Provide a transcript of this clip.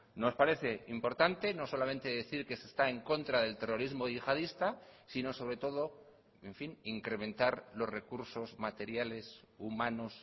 nos parece importante no solamente decir que se está en contra del terrorismo yihadista sino sobre todo en fin incrementar los recursos materiales humanos